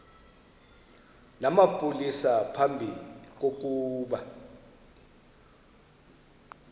namapolisa phambi kokuba